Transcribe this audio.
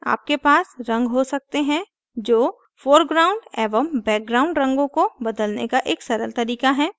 आपके पास रंग हो सकते हैं जो foreground एवं background रंगों को बदलने का एक सरल तरीका है